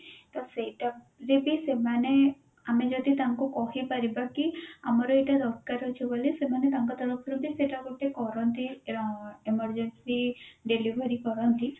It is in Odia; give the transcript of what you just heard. ତ ସେଇଟା ଯେ କି ସେମାନେ ଆମେ ଯଦି ତାଙ୍କୁ କହିପାରିବା କି ଆମର ଏଇଟା ଦରକାର ଅଛି ସେମାନେ ତାଙ୍କ ତରଫରୁ ବି ସେଟା ଗୋଟେ କରନ୍ତି ର emergency delivery କରନ୍ତି